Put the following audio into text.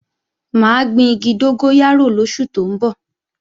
Mà á gbin igi dógóyárò lóṣù tó ń bọ̀